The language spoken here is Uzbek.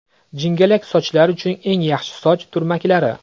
Jingalak sochlar uchun eng yaxshi soch turmaklari.